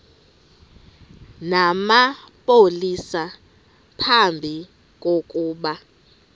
namapolisa phambi kokuba